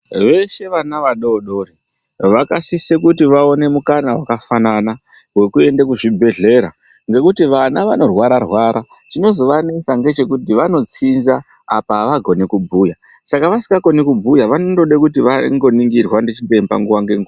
Veshe vana vadodori vakasise kuti vaone mukana wakafanana wekuenda muzvibhedhlera, ngekuti vana vanorwara rwara chinozovanesa ngechekuti vanotsinza apa avagoni kubhuya saka vasikakoni kubhuya vanondode kuti vangoningirwa ndichiremba nguwa ngenguwa.